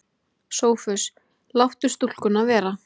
SOPHUS: Láttu stúlkuna vera.